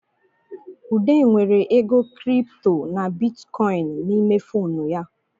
Ude nwere ego Kịrịpụtọ na bịtịkọyịnị n'ime fonu ya